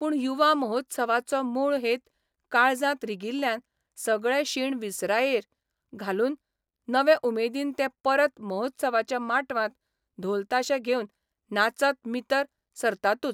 पूण युवा महोत्सवाचो मूळ हेत काळजांत रिगिल्ल्यान सगळे शीण विसरायेर घालून नवे उमेदीन ते परत महोत्सवाच्या माटवांत धोल ताशे घेवन नाचत मितर सरतातूच.